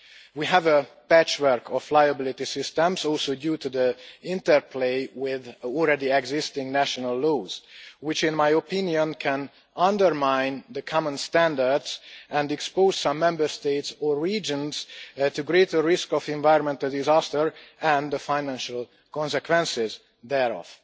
We have a patchwork of liability systems, due also to the interplay with already-existing national laws, which in my opinion can undermine the common standards and expose some Member States or regions to a greater risk of environmental disaster and the financial consequences thereof.